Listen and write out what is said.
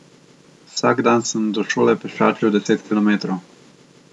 Vsak dan sem do šole pešačil deset kilometrov.